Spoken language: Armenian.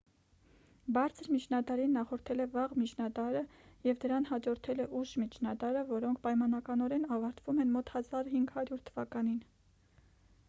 բարձր միջնադարին նախորդել է վաղ միջնադարը և դրան հաջորդել է ուշ միջնադարը որոնք պայմանականորեն ավարտվում են մոտ 1500 թվականին